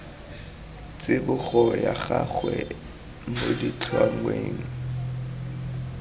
tsibogo ya gagwe mo ditlhangweng